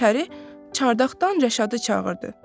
Pəri çardaqdan Rəşadı çağırdı.